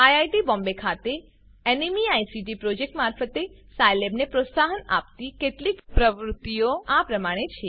IIT Bombay ખાતે NMEICT project મારફતે સાયલેબને પ્રોત્સાહન આપતી કેટલીક પ્રવૃત્તિઓ આપેલ પ્રમાણે છે